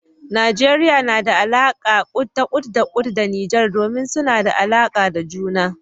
Najeriya na da alaka ta kut-da-kut da Nijar, domin suna da alaka da juna.